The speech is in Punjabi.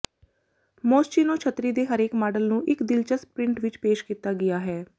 ਮੋਸਚੀਨੋ ਛਤਰੀ ਦੇ ਹਰੇਕ ਮਾਡਲ ਨੂੰ ਇੱਕ ਦਿਲਚਸਪ ਪ੍ਰਿੰਟ ਵਿੱਚ ਪੇਸ਼ ਕੀਤਾ ਗਿਆ ਹੈ